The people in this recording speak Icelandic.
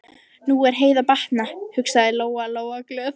Nú er Heiðu að batna, hugsaði Lóa-Lóa glöð.